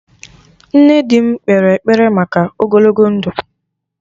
Nne di m kpere ekpere maka ogologo ndụ